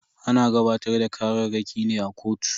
Ana gabatar da kararraki ne a kotu.